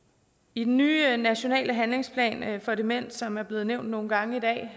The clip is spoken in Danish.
i den nye nationale handlingsplan for demens som er blevet nævnt nogle gange i dag